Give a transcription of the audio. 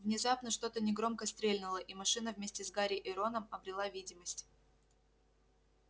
внезапно что-то негромко стрельнуло и машина вместе с гарри и роном обрела видимость